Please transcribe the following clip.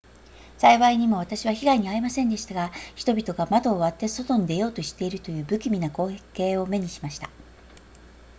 幸いにも私は被害に遭いませんでしたが人々が窓を割って外に出ようとしているという不気味な光景を目にしました